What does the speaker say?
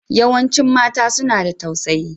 Yawancin mata suna da tausayi.